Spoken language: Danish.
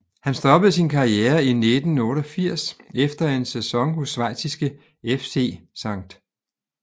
Han stoppede sin karriere i 1988 efter en sæson hos schweiziske FC St